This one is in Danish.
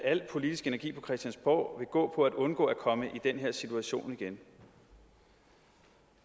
al politisk energi på christiansborg gå på at undgå at komme i den her situation igen